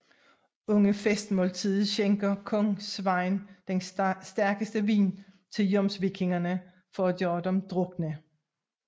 Under festmåltidet skænker kong Sveinn den stærkeste vin til jomsvikingerne for at gøre dem drukne